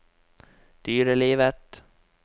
dyrelivet